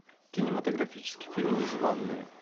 кинематографический фильм незванные